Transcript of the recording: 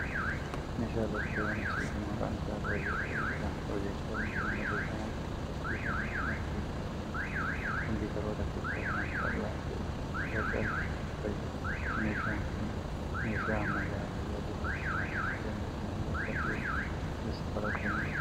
Meeshaan elektirooniksii kun, maqaan isaa piroojeektara jedhama. Piroojeektarri kun barreeffamoota fi fakkiiwwan akkasumas viidiyoo garaa garaa koompiitaroota keessaa waan bal'aa ta'e irratti agarsiisuuf fayyada. Meeshaan kun, meeshaa ammayyaa tajaajila akka kanaa kennu bara dhihioo keessa kalaqamee dha.